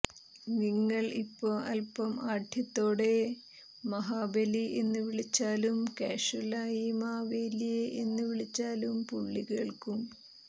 നിങ്ങൾ ഇപ്പോ അല്പം ആഢ്യത്തത്തോടെ മഹാബലി എന്ന് വിളിച്ചാലും കാഷ്വൽ ആയി മാവേല്യേ എന്ന് വിളിച്ചാലും പുള്ളി കേൾക്കും